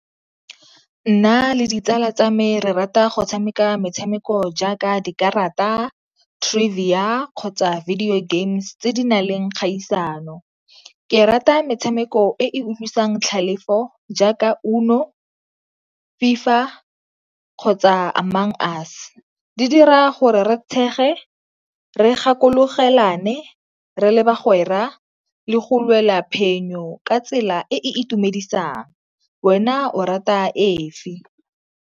Nna le ditsala tsa me re rata go tshameka metshameko jaaka dikarata, trivia kgotsa video games tse di na leng kgaisano. Ke rata metshameko e utlwisang tlhalefo jaaka UNO, FIFA, kgotsa Among Us. Di dira gore re tshege, re gakologelane re le bagwera le go lwela phenyo ka tsela e e itumedisang. Wena o rata efe?